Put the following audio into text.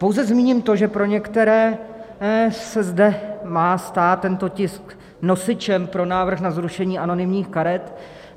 Pouze zmíním to, že pro některé se zde má stát tento tisk nosičem pro návrh na zrušení anonymních karet.